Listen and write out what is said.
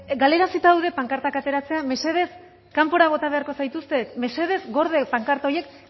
galarazita daude pankartak ateratzea mesedez kanpora bota beharko zaituztet mesedez gorde pankarta horiek